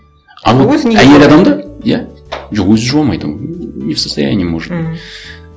әйел адамды иә жоқ өзі жуа алмайды ол не в состоянии может м